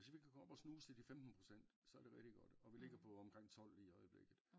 Hvis vi kan komme op at snuse til de 15 procent så er det rigtig godt og vi ligger på omkring 12 lige i øjeblikket